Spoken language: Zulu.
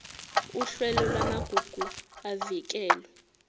uhlelo lwamagugu avikelwe